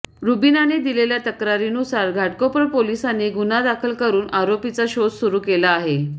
रुबिनाने दिलेल्या तक्रारीनुसार घाटकोपर पोलिसांनी गुन्हा दाखल करून आरोपीचा शोध सुरू केला आहे